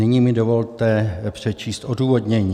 Nyní mi dovolte přečíst odůvodnění.